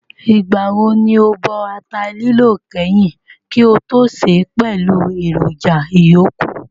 Ìgbà wo ni ó bọ ata lílọ̀ kányìn kí ó tó sè é pẹ̀lú èròjà ìyókù?